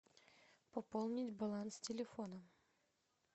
пополнить баланс телефона